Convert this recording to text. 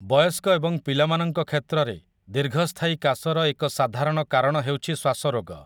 ବୟସ୍କ ଏବଂ ପିଲାମାନଙ୍କ କ୍ଷେତ୍ରରେ ଦୀର୍ଘସ୍ଥାୟୀ କାଶର ଏକ ସାଧାରଣ କାରଣ ହେଉଛି ଶ୍ୱାସରୋଗ ।